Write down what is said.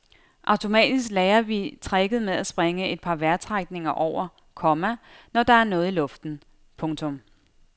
Automatisk lærer vi tricket med at springe et par vejrtrækninger over, komma når der er noget i luften. punktum